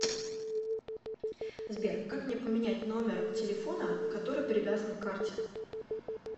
сбер как мне поменять номер телефона который привязан к карте